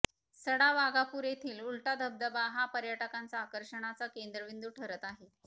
सडावाघापूर येथील उलटा धबधबा हा पर्यटकांचा आकर्षणाचा केंद्रबिंदू ठरत आहे